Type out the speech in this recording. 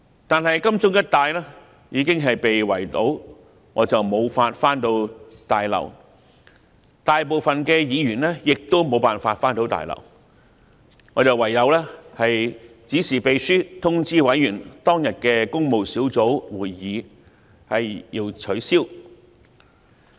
但是，金鐘一帶已經被圍堵，我無法返回大樓，大部分議員亦都無法返回大樓，我唯有指示秘書通知委員，當天的工務小組委員會會議需要取消。